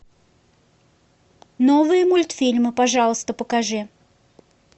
новые мультфильмы пожалуйста покажи